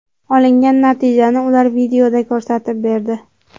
Olingan natijani ular videoda ko‘rsatib berdi.